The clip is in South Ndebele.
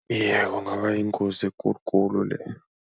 Iye, kungaba yingozi ekulu khulu leyo.